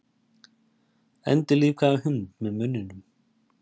Endurlífgaði hund með munninum